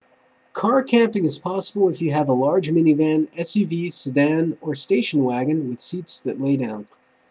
car camping is possible if you have a large minivan suv sedan or station wagon with seats that lay down